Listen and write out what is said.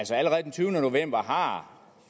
så allerede den tyvende november har